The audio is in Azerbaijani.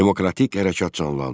Demokratik hərəkat canlandı.